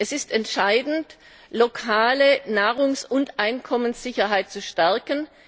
Es ist entscheidend, die lokale Nahrungs und Einkommenssicherheit zu stärken.